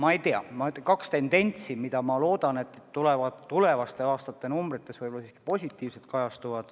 Ma ei tea, kaks tendentsi loodetavasti kajastuvad tulevaste aastate numbrites siiski positiivsetena.